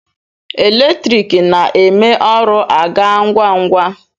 Eletriki na-eme ọrụ a gaa ngwa ngwa.